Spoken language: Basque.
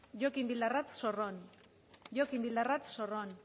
jokin bildarratz zorron jokin bildarratz zorron